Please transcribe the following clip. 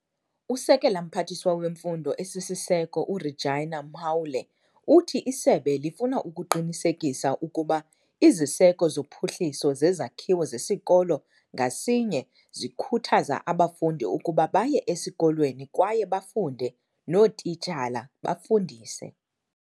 USekela Mphathiswa weMfundo esiSiseko u-Reginah Mhaule uthi isebe lifuna ukuqinisekisa ukuba iziseko zophuhliso zezakhiwo zesikolo ngasinye zikhuthaza abafundi ukuba baye esikolweni kwaye bafunde, nootitshala bafundise.